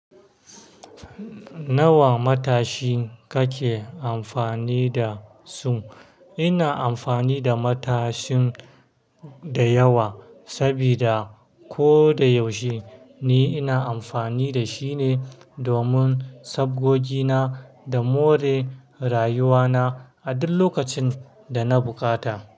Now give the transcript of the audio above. Nawa matashi kake amfani da su? Ina amfani da matashin da yawa, sabida ko da yaushe ni ina amfani da shi ne domin sabgogi na da more rayuwa na a duk lokacin da na bukata.